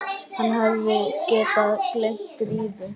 Hann hefði getað gleymt Drífu.